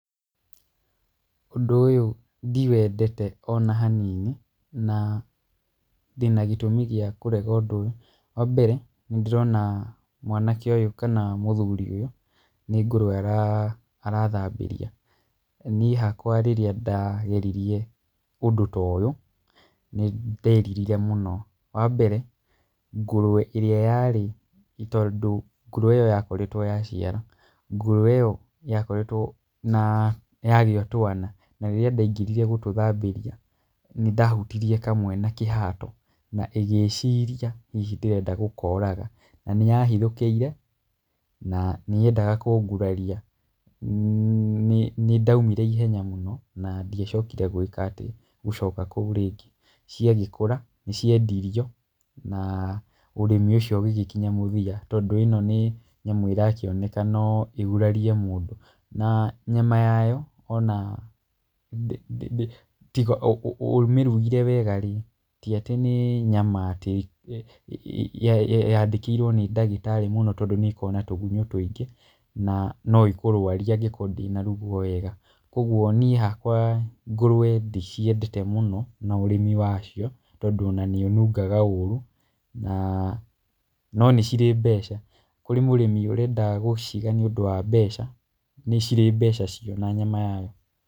Ũndũ ũyũ ndiwendete ona hanini, na ndĩna gĩtũmi gĩa kũrega ũndũ ũyũ. Wa mbere nĩ ndĩrona mwanake ũyũ kana mũthuri ũyũ nĩ ngũrũwe arathambĩria, niĩ hakwa rĩria ndageririe ũndũ ta ũyũ nĩ nderirire mũno. Wa mbere ngũrũwe ĩrĩa yarĩ, tondũ ngũrũwe ĩyo yakoretwo yaciara, ngũrũwe ĩyo yakoretwo yagĩa twana na rĩrĩa ndaingĩrire gũtũthambĩria, nĩ ndahutirie kamwe na kĩhato, na ĩgĩciria hihi ndĩrenda gũkoraga, na nĩ yahithũkĩire na nĩyendaga kũnguraria, nĩ ndaumire na ihenya mũno, na ndiacokire gũcoka kou rĩngĩ, ciagĩkũra, nĩ ciendirio, na ũrĩmi ũcio ũgĩgĩkinya mũthia, tondũ ĩno nĩ nyamũ ĩrakĩoneka no ĩgurarie mũndũ. Na nyama yayo ona, tiga ũmĩrugĩre wega rĩ, ti atĩ nĩ nyama atĩ yandĩkĩirwo nĩ ndagĩtarĩ mũno tondũ nĩ ĩkoragwo na tũgunyũ tũingĩ, na no ĩkũrwarie angĩkorwo ndĩnarugwo wega. Kũguo niĩ hakwa ngũrũwe ndiciendete mũno na ũrĩmi wacio, tondũ ona nĩ ĩnungaga ũru, no nĩ cirĩ mbeca. Kũrĩ mũrĩmi ũrenda gũciga nĩ ũndũ wa mbeca, nĩ cirĩ mbeca cio na nyama yayo.